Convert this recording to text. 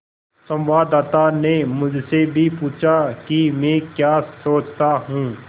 संवाददाता ने मुझसे भी पूछा कि मैं क्या सोचता हूँ